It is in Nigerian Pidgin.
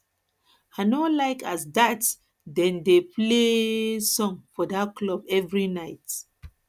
i no like as dat dem dey play um song for dat club every night